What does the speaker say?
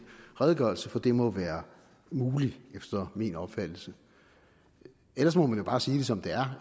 redegørelse for det må være muligt efter min opfattelse ellers må man jo bare sige det som det er